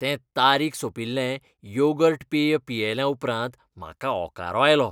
तें तारीख सोंपिल्लें योगर्ट पेय पियेल्या उपरांत म्हाका ओंकारो आयलो.